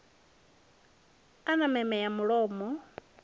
a na meme ya mulomo